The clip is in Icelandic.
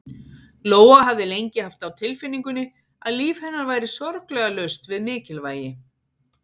Lóa hafði lengi haft á tilfinningunni að líf hennar væri sorglega laust við mikilvægi.